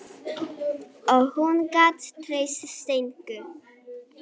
Og hún gat treyst Steinku.